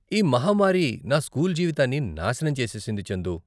ఈ మహమ్మారి నా స్కూల్ జీవితాన్ని నాశనం చేసేసింది, చందూ.